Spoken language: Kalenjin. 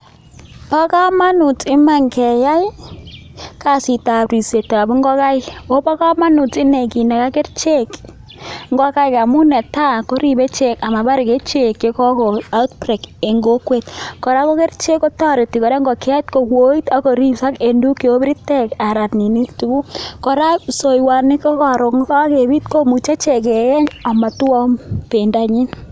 Bo kamanut iman keya kasit ab ripset ab ngokaik, ooh bo kamanut inei kinaga kerichek ngokaik amun netai koribe kerichek amabar outbreak nebo myonwogik en kokwet, ako kerichek kotoreti kora ngokiet kowoit akoripok en tuguk cheu biritek .Ara psoiwoni ko karon kokebit komuche keyeny amotwou bendonyin.